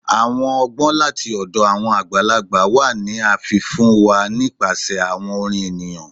Awọn ọgbọn lati ọdọ awọn agbalagba wa ni a fi fun wa nipasẹ awọn orin eniyan